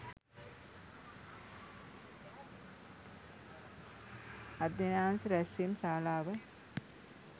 අධ්‍යයනාංශ රැස්වීම් ශාලාව